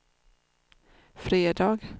fredag